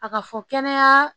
A ka fɔ kɛnɛya